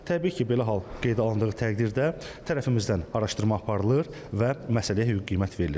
Təbii ki, belə hal qeydə alındığı təqdirdə tərəfimizdən araşdırma aparılır və məsələyə hüquqi qiymət verilir.